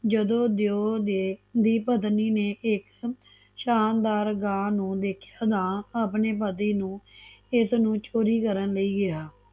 ਜਦੋਂ ਦਿਓ ਦੀ ਪਤਨੀ ਨੇ ਇਕ ਸ਼ਾਨਦਾਰ ਗਾ ਨੂੰ ਦੇਖਿਆ ਤਾਂ ਆਪਣੇ ਪਤੀ ਨੂੰ ਇਸ ਨੂੰ ਚੋਰੀ ਕਰਨ ਲਈ ਕਿਹਾ